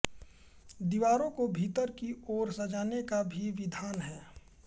दीवारों को भीतर की ओर सजाने का भी विधान है